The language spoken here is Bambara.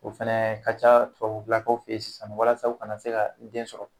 O fɛnɛ ka ca tubabulakaw fe yen sisan walasa u ka na se ka den sɔrɔ.